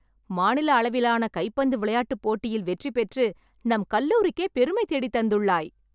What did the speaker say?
மாநில அளவிலான கைப்பந்து விளையாட்டுப் போட்டியில் வெற்றி பெற்று நம் கல்லூரிக்கே பெருமை தேடித் தந்துள்ளாய்